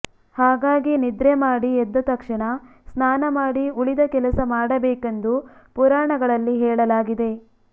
ಹಾಗಾಗಿ ನಿದ್ರೆ ಮಾಡಿ ಎದ್ದ ತಕ್ಷಣ ಸ್ನಾನ ಮಾಡಿ ಉಳಿದ ಕೆಲಸ ಮಾಡಬೇಕೆಂದು ಪುರಾಣಗಳಲ್ಲಿ ಹೇಳಲಾಗಿದೆ